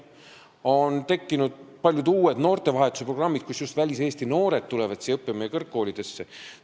On tekkinud paljud uued noortevahetuse programmid, mille abil just väliseesti noored tulevad meie kõrgkoolidesse õppima.